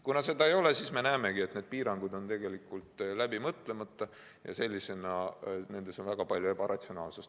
Kuna seda ei ole, siis me näemegi, et piirangud on läbi mõtlemata ja nendes on väga palju ebaratsionaalset.